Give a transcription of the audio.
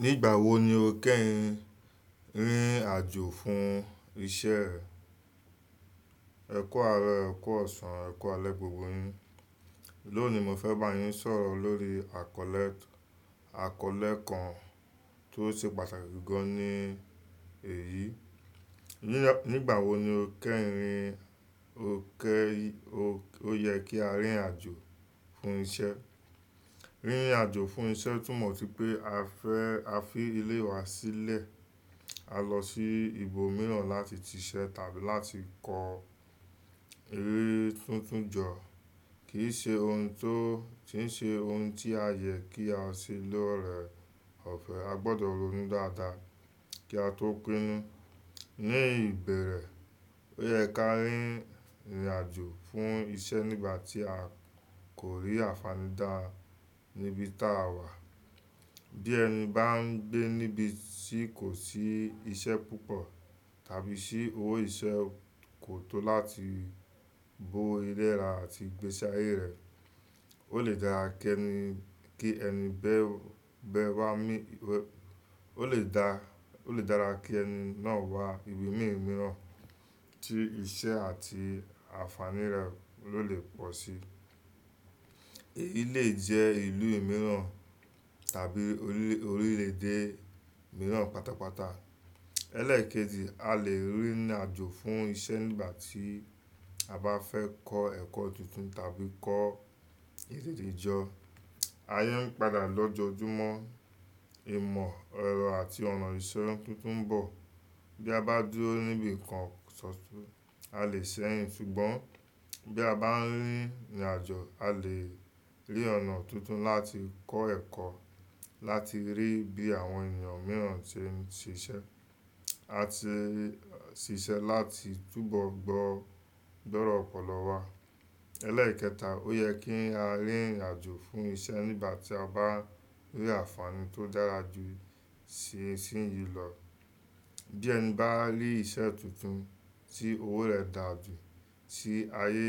Nígbà wo ni o kẹ́yin rìnrìn àjò fún iṣẹ́? Ẹ̀ku ààrọ̀, ẹ̀ku ọ̀sán, ẹ̀ku alẹ́ gbogbo yin. Lónìí mo fẹ́ bá yín sọ̀rọ̀ lórí àkọlẹ àkọlẹ̀ kan tó ṣe pàtàkì gan ní èyí. Nígbà wo ni o kẹ́yin ò kẹ́ ó yẹ kí á rìnrìn àjò fún iṣẹ́? Rìnrìn àjò fún iṣẹ́ túmọ̀ sí pé a fẹ́ a fi ilé wa sílẹ̀, a lọ sí ibòmíràn láti ti iṣẹ́ tàbí láti ko eré tuntun jọ. Kì í ṣe ohun tó kì í ṣe ohun tí a yẹ kí á ṣe lóore ọ̀fẹ́. A gbọdọ̀ ronú dáadáa kí a tó pinnu. Ní ìbẹ̀rẹ̀, ó yẹ kí á rìnrìn àjò fún iṣẹ́ nígbà tí a kò rí ànfàaní dá níbi táa wà. Bí ẹni bá ń gbé níbi tí kò sí iṣẹ́ púpọ̀ tàbí sí owó iṣẹ́ kò tó láti bó ilé ra àti igbési ayé rẹ̀. Ó lè dára kí ẹni bẹ́ẹ́ bẹ wá mí wẹ ó lè dá ó lè dára kí ẹni náà wá ibi mìíràn tí iṣẹ́ àti ànfàní rẹ̀ ló lè pọ̀ sí. Èyí lè jẹ́ ìlú mìíràn tàbí orílè orílè èdè mìíràn pátápátá. Ẹ̀lẹ́kejí, a lè rìnrìn àjò fún iṣẹ́ nígbà tí a bá fẹ́ kọ́ ẹ̀kọ́ tuntun tàbí kọ́ ède jọ. Aye ń padà lojoojúmọ́ ìmọ̀ ẹrọ àti ọ̀nà ìṣe tuntun ń bọ̀. Bí a bá dúró níbi kan, a lè sẹ́yìn ṣùgbọ́n bí a bá ń rìnrìn àjò, a lè rí ọ̀nà tuntun láti kọ́ ẹ̀kọ́, láti rí bí àwọn ènìyàn mìíràn ṣe ń ṣiṣẹ́. A ti ṣiṣẹ́ láti túbọ̀ gbọ́ dọ́rọ́ ọ̀pọ̀lọ́ wá. Ẹ̀lẹ́ẹ̀kẹta, ó yẹ kí á rìnrìn àjò fún iṣẹ́ nígbà tí a bá rí ànfàaní tó dára jù tí ìsìnyí lọ. Bí ẹni bá rí iṣẹ́ tuntun tí owó rẹ̀ dáa jù, tí ayé